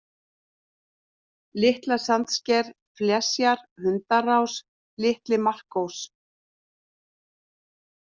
Litla-Sandsker, Flesjar, Hundarás, Litli-Markós